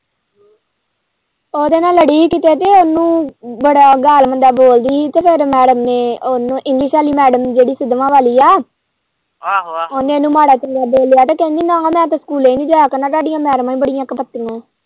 ਉਹਦੇ ਨਾਲ਼ ਲੜੀ ਹੀਗੀ ਤੇ ਉਹਨੂੰ ਬੜਾ ਗਾਲ਼ ਮੰਦਾ ਬੋਲਦੀ ਹੀ ਤੇ ਫੇਰ ਮੈਡਮ ਨੇ ਉਹਨੂੰ english ਵਾਲੀ ਮੈਡਮ ਨੇ ਜਿਹੜੀ ਸਿਦਮਾ ਵਾਲ਼ੀ ਏ ਉਹਨੇ ਇਹਨੂੰ ਮਾੜਾ-ਚੰਗਾ ਬੋਲਿਆ ਕਹਿੰਦੀ ਮੈਂ ਕਿਹਾ ਮੈਂ ਤੇ ਸਕੂਲੇ ਨੀ ਜਾਇਆ ਕਰਨਾ ਤੁਹਾਂਡੀਆਂ ਮੈਡਮਾਂ ਹੀ ਬੜੀਆਂ ਕੁੱਪਤੀਆਂ ਏ।